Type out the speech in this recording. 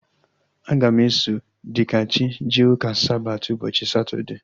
Aga m eso Dikachi jee ụka Sabati ụbọchị Satọdee